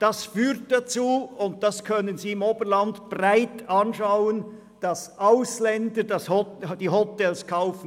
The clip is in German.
Das führt dazu – und das können Sie im Oberland überall beobachten –, dass Ausländer die Hotels kaufen.